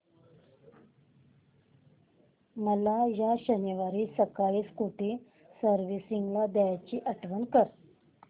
मला या शनिवारी सकाळी स्कूटी सर्व्हिसिंगला द्यायची आठवण कर